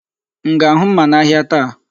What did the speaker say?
M ga-ahụ mma n'ahịa taa?